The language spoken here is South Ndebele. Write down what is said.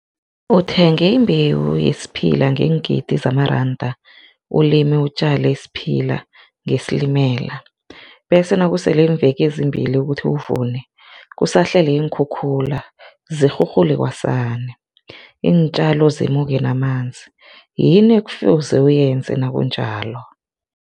Uthenge imbewu yesiphila ngeengidi zamaranda ulime utjale isiphila ngesilimela, bese nakusele iimveke ezimbili ukuthi uvune, kusahlele iinkhukhula zirhurhule kwasani, iintjalo zimuke namanzi, yini ekufuze uyenze nakunjalo?